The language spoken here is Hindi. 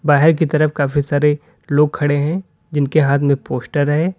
बाहे की तरफ काफी सारे लोग खड़े हैं जिनके हाथ में पोस्टर है।